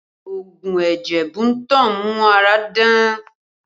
Oogun ẹ̀jẹ̀ Bunto ń mú ara dán